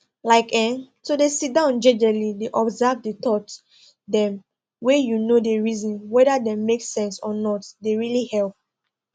like[um]to dey sidon jejely dey observe the thoughts dem wey you no dey reason whether dem make sense or not dey really help